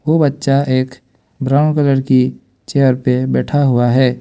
वो बच्चा एक ब्राउन कलर की चेयर पे बैठा हुआ है।